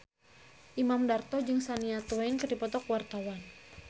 Imam Darto jeung Shania Twain keur dipoto ku wartawan